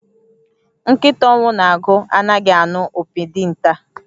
Nkịta ọnwụ na-agụ anaghi anu opi dinta